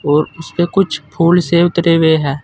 और उसपे कुछ फूल से उतरे हुए हैं।